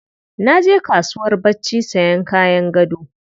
Na je kasuwar barci sayan kayan gado.